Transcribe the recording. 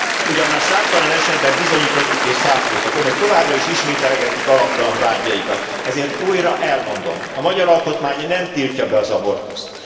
Ugyan már számtalan esetben bizonyítottuk és cáfoltuk, Önök továbbra is ismételgetik alaptalan vádjaikat, ezért újra elmondom a magyar alkotmány nem tiltja be az abortuszt.